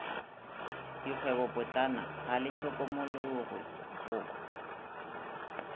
dikgwebopotlana ga le hlokomologwe go